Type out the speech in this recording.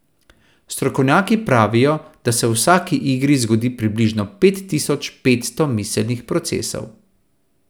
Strokovnjaki pravijo, da se v vsaki igri zgodi približno pet tisoč petsto miselnih procesov.